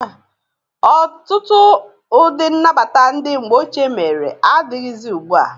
Ọtụtụ ụdị nnabata ndị mgbe ochie mere adịghịzị ugbu a.